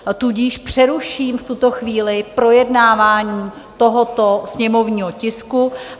Tudíž přeruším v tuto chvíli projednávání tohoto sněmovního tisku.